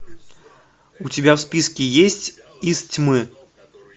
у тебя в списке есть из тьмы